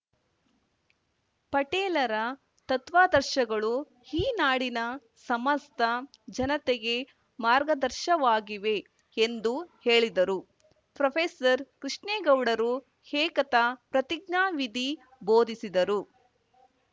ಪಟೇಲ್‌ರ ತತ್ವಾದರ್ಶಗಳು ಈ ನಾಡಿನ ಸಮಸ್ತ ಜನತೆಗೆ ಮಾರ್ಗದರ್ಶವಾಗಿವೆ ಎಂದು ಹೇಳಿದರು ಪ್ರೊಫೆಸರ್ಕೃಷ್ಣೇಗೌಡರು ಏಕತಾ ಪ್ರತಿಜ್ಞಾ ವಿಧಿ ಬೋಧಿಸಿದರು